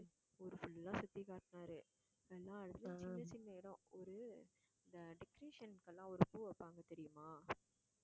ஊரு full ஆ சுத்தி காட்டுனாரு எல்லா இடத்துலயும் சின்ன சின்ன இடம் இந்த decoration க்குலாம் ஒரு பூ வைப்பாங்க தெரியுமா